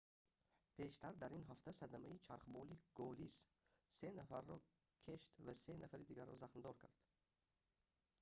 пештар дар ин ҳафта садамаи чархболи gолис се нафарро кeшт ва се нафари дигарро захмдор кард